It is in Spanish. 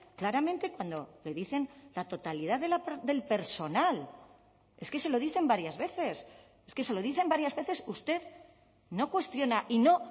claramente cuando le dicen la totalidad del personal es que se lo dicen varias veces es que se lo dicen varias veces usted no cuestiona y no